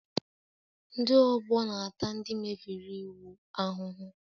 Ndị ọgbọ na-ata ndị mebiri iwu ahụhụ